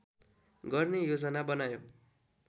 गर्ने योजना बनायो